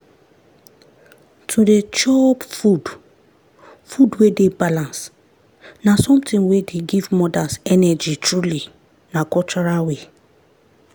to dey chop food food wey dey balanced na something wey dey give mothers energy truly na cultural way.